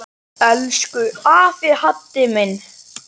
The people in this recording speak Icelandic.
Elsku afi Haddi minn.